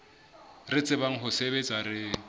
re tsebang ho sebetsa re